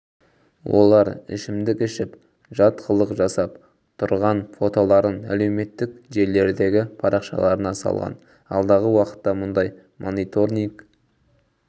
олар ішімдік ішіп жат қылық жасап тұрған фотоларын әлеуметтік желілердегі парақшаларына салған алдағы уақытта мұндай мониторниг